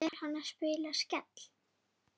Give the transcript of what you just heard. Er hann að spila Skell?